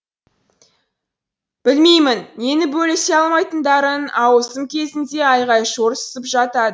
білмеймін нені бөлісе алмайтындарын ауысым кезінде айғай шу ұрсысып жатады